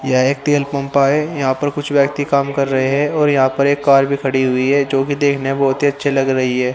यह एक तेल पंपा है यहां पर कुछ व्यक्ति काम कर रहे है और यहां पर एक कार भी खड़ी हुई है जो कि देखने मे बहुत ही अच्छे लग रही है।